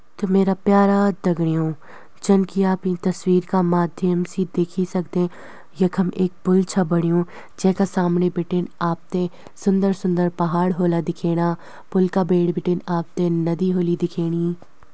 त मेरा प्यारा दघड़ियों जन की आप ईं तस्वीर क माध्यम सी देखी सक्दें यखम एक पुल छ बणियुं जैका सामणि बिटिन आपते सुन्दर सुन्दर पहाड़ होला दिखेणा। पुल का बेड़ बिटिन आपते नदी होली दिखेणी।